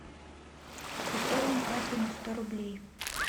пополни карту на сто рублей